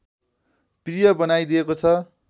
प्रिय बनाइदिएको छ